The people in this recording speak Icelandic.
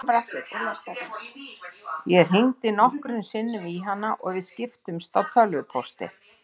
Ég hringdi nokkrum sinnum í hana og við skiptumst á tölvupósti.